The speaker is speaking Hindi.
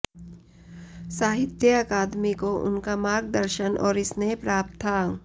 साहित्य अकादमी को उनका मार्गदर्शन और स्नेह प्राप्त था